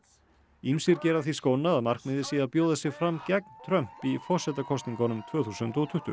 ýmsir gera að því skóna að markmiðið sé að bjóða sig fram gegn Trump í forsetakosningunum tvö þúsund og tuttugu